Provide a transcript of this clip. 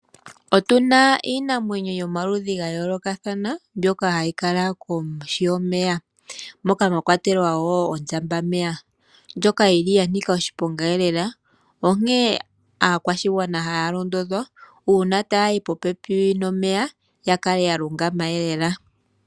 Otuna iinamwenyo yomaludhi gayoolokathana mbyoka hayi kala kohi yomeya. Omwakwatelwa ondjambameya. Aantu otaya londodhwa uuna taya yi popepi nomeya yakale yalungama.